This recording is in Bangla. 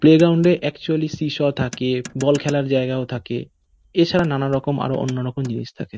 প্লেগ্রাউনডে -এ একচুয়ালি সি সও থাকে বল খেলার জায়গাও থাকে এছাড়া নানানরকম আরও অন্যরকম জিনিস থাকে।